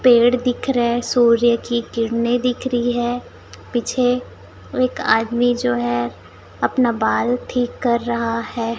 पेड़ दिख रहे है। सूर्य की किरणें दिख रही है पीछे एक आदमी जो है अपना बाल ठीक कर रहा है।